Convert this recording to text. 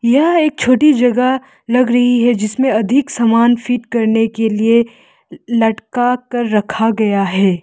यह एक छोटी जगह लग रही है जिसमें अधिक सामान फिट करने के लिए लटका कर रखा गया है।